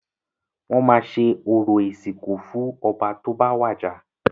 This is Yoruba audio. Wọ́n máa ṣe orò ìsìnkú fún ọba tó bá wàjà.